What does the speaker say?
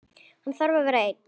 Hann þarf að vera einn.